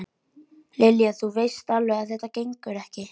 Lilja, þú veist alveg að þetta gengur ekki